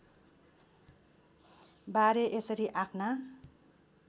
बारे यसरी आफ्ना